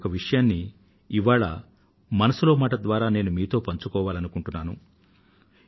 ఇటువంటి ఒక విషయాన్ని ఇవాళ మనసులో మాట ద్వారా మీతో నేను పంచుకోవాలనుకుంటున్నాను